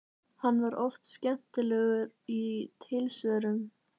Hann var oft skemmtilegur í tilsvörum.